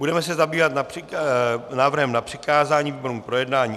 Budeme se zabývat návrhem na přikázání výborům k projednání.